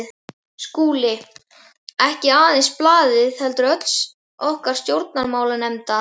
SKÚLI: Ekki aðeins blaðið heldur öll okkar stjórnmálastefna.